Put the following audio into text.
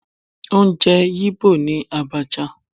Oúnjẹ Igbo ni Abacha